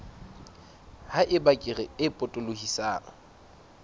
ha eba kere e potolohisang